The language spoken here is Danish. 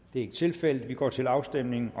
det er ikke tilfældet og vi går til afstemning